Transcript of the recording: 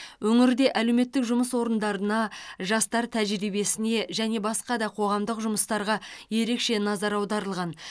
өңірде әлеуметтік жұмыс орындарына жастар тәжірибесіне және басқа да қоғамдық жұмыстарға ерекше назар аударылған